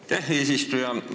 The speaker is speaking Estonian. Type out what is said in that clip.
Aitäh, eesistuja!